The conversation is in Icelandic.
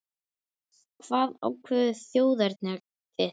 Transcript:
Hvað ákveður þjóðerni þitt?